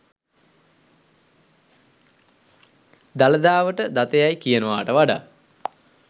දළදාවට දත යැයි කියනවාට වඩා